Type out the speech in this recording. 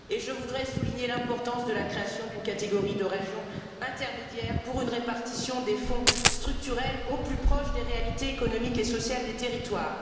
Je voudrais souligner l'importance de la création d'une catégorie de régions intermédiaires pour une répartition des fonds structurels au plus près des réalités économiques et sociales des territoires.